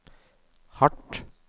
hardt